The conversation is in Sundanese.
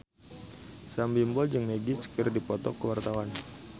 Sam Bimbo jeung Magic keur dipoto ku wartawan